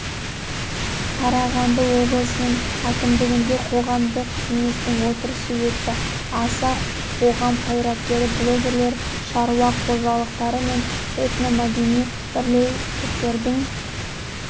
қарағанды облысының әкімдігінде қоғамдық кеңестің отырысы өтті аса қоғам қайраткері блогерлер шаруа қожалықтары мен этномәдени бірлестіктердің